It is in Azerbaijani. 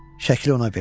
Şəkli ona verdim.